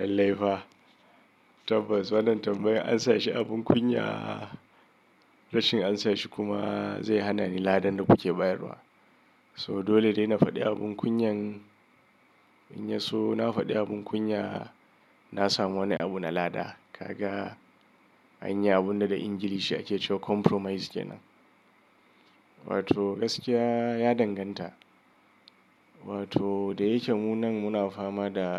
Lallai fa. Tabbas wannan tambayar an sa shi abin kunya. Rashin an sa shi kuma zai hana ni ladan da kuke bayarwa. So dole dai na faɗi abin kunyan. In ya so na faɗi abin kunya, na samu wani abu na lada. Kaga anyi abunda da Ingilishi ake cewa compromise kenan. Wato gaskiya ya danganta. Wato da yake mu nan muna fama da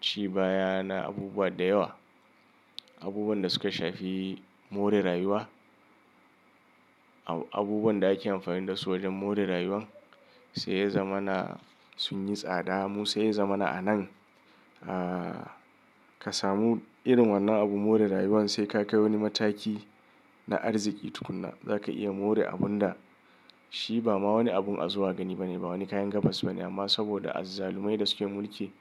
ci baya na abubuwa da yawa. Abubuwan da suka shafi more rayuwa. Abubuwan da ake amfani dasu wajen more rayuwa sai ya zama na sun yi tsada. Mu sai ya zama na anan. Ah kasamu irin wannan abun more rayuwan sai ka kai wani mataki na arziki tukuna zaka iya more abunda shi ba ma wani abun a zuwa gani ba ne, ba wani kayan gabas ba ne. Amma saboda azzalumai da suke mulki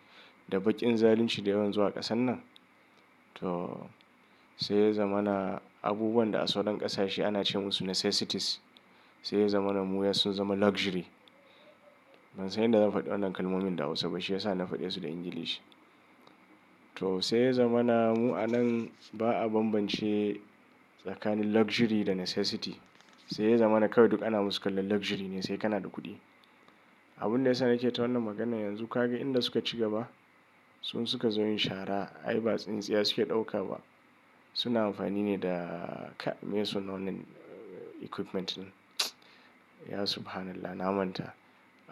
da baƙin zalunci da yawan zuwa ƙasan nan to sai ya zama na abubuwan da a sauran ƙasashe ana ce musu necessities. Sai ya zama na mu ya sun zama luxury. Ban san yanda zan faɗi wannan kalmomin da Hausa ba shi yasa na faɗe su da Ingilishi. To sai ya zama na mu anan ba a bambance tsakanin luxury da necessity. Sai ya zama na kawai duk ana musu kallon luxury ne sai kana da kuɗi. Abunda yasa nake ta wannan maganan yanzu kaga inda suka ci gaba. Sun suka zo yin shara ai ba tsintsiya suke ɗauka ba. Suna amfani ne da ka mai sunan wannen equipment din. Ya Subhanallah na manta.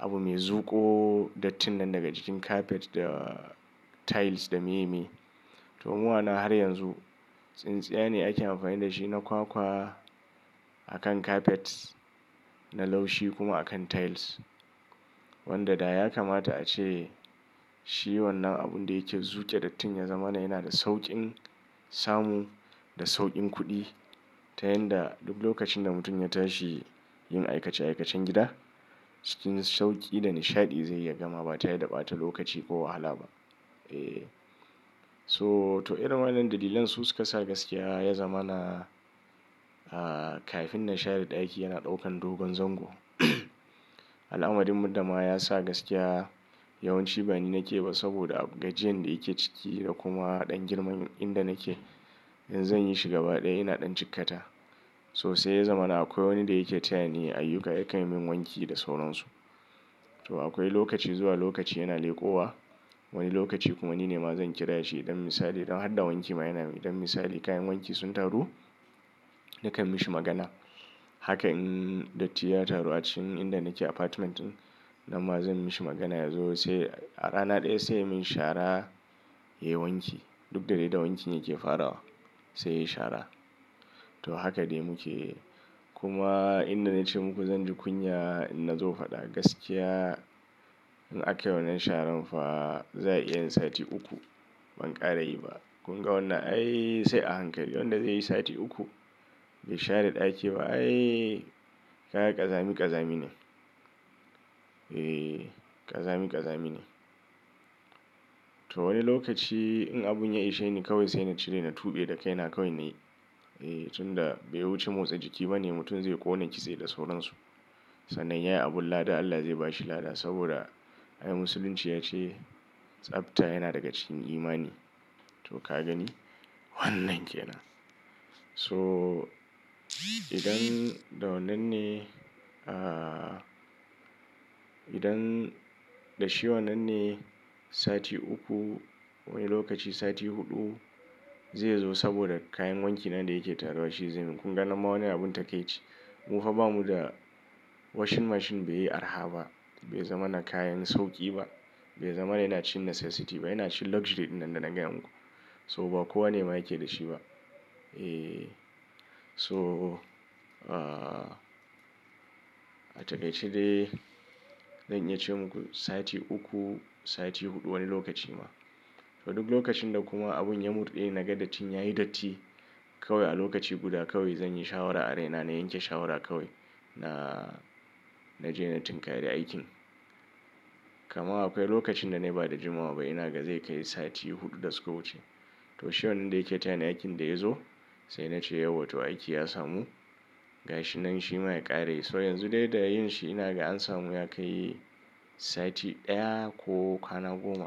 Abu mai zuƙo dattinan daga cikin carpet da tiles da miye miye. To mu ana har yanzu tsintsiya ne ake amfani da shi na kwakwa a kan carpets na laushi kuma a kan tiles. Wanda da ya kamata a ce shi wannan abunda yake zuƙi dattin ya zama na yana da sauƙin samu da sauƙin kuɗi. Ta yanda duk lokacin da mutum ya tashi yin aikace aikacen gida cikin sauƙi da nishaɗi zai iya gamawa ba tare da ɓata lokaci ko wahala ba. Eh. So to irin wannan dalilan su suka sa gaskiya ya zama na ah kafin na share ɗaki yana ɗaukan dogon zango. Al'amadin murda ma ya sa gaskiya yawanci bani nake ba saboda gajeren da yake ciki da kuma ɗan girman inda nake in zan yi shi gaba ɗaya yana ɗan cikkata. So sai ya zama na akwai wani da yake tayani ayyuka ya kai min wanki da sauransu. To akwai lokaci zuwa lokaci yana leƙowa. Wani lokaci kuma nine ma zan kira shi idan misali don hada wanki ma yana yi. Idan misali kayan wanki sun taru nakan mishi magana. Haka in datti ya taru a cikin inda nake apartment din, nan ma zan mishi magana yazo sai a rana ɗaya sai min shara ya yi wanki. Duk da dai da wanki ne yake farawa sai yayi shara. To haka dai muke. Kuma inda na ce muku zan ji kunya idan na zo faɗa. Gaskiya in ake wannan sharan fa za a iya yin sati uku ban ƙare yi ba. Kun ga wannan? Ai sai a hankali wanda zai yi sati uku bai share ɗaki ba. Ai kaga ƙazami ƙazami ne. Eh ƙazami ƙazami ne. To wani lokaci in abun ya ishe ni kawai sai na cire na tuɓe da kai na kawai nayi. Eh tunda bai wuce motsa jiki ba ne mutum zai ƙone kitse da sauransu. Sannan yayi abun lada Allah zai bashi lada saboda ai musulunci ya ce tsabta yana daga cikin imani. To ka gani wannan kenan. So idan da wannan ne ah idan da shi wannan ne sati uku wani lokaci sati huɗu zai zo saboda kayan wanki nan da yake taruwa shi zai min. Kun ga nan ma wannan abun take ci. Mu fa ba mu da washing machine bai yi arha ba. Bai zama na kayan sauƙi ba. Bai zama na yana cin necessity ba. Yana cin luxury ɗinnan da na gaya muku. So ba kowane ma yake da shi ba. Eh so ah atakai ci dai? Zan iya ce muku sati uku, sati huɗu wani lokaci ma. To duk lokacin da kuma abun ya mur ɗi ne naga dattin yayi datti kawai a lokaci guda kawai zanyi shawara a raina na yanke shawara kawai na naje na tinka re aikin. Kamar akwai lokacin da na yi ba da jimawa ba ina ga zai kai sati huɗu da suka wuce. To shi wannan da yake tayani aikin da ya zo sai na ce yau wa to aiki ya samu gashi nan shi ma ya ƙare. So yanzu dai da yin shi ina ga an samu ya kai sati ɗaya ko ƙanagoma.